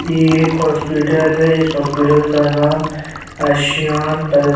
ये एक हॉस्पिटल है इस अस्पताल का नाम आशियाँन --